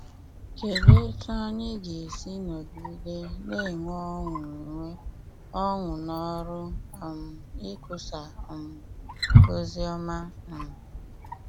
Kedụ etú anyị ga esi nọgide na - enwe ọṅụ - enwe ọṅụ n’ọrụ um ikwusa um ozi ọma um?